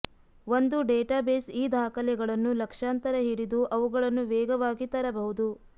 ಒಂದು ಡೇಟಾಬೇಸ್ ಈ ದಾಖಲೆಗಳನ್ನು ಲಕ್ಷಾಂತರ ಹಿಡಿದು ಅವುಗಳನ್ನು ವೇಗವಾಗಿ ತರಬಹುದು